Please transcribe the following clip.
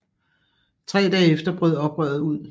Tre dage efter brød oprøret ud